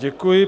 Děkuji.